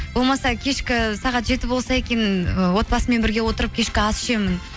болмаса кешкі сағат жеті болса екен ы отбасымен бірге отырып кешкі ас ішемін